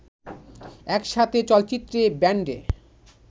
একসাথে চলচ্চিত্রে, ব্যান্ডে